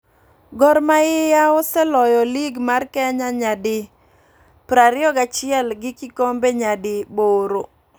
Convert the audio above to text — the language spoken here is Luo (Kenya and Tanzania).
Gor mahia oseloyo lig mar Kenya nya di 21 gi kikombe nya di boro